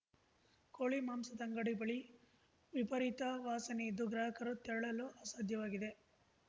ಕೋಳಿ ಮಾಂಸದ ಅಂಗಡಿ ಬಳಿ ವಿಪರೀತ ವಾಸನೆಯಿದ್ದು ಗ್ರಾಹಕರು ತೆರಳಲು ಅಸಾಧ್ಯವಾಗಿದೆ